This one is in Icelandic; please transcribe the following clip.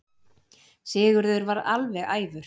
Sigurður varð alveg æfur.